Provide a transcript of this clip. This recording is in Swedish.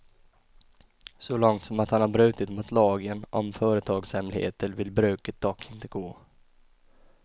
Så långt som att han brutit mot lagen om företagshemligheter vill bruket dock inte gå.